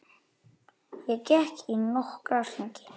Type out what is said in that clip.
Ég gekk í nokkra hringi.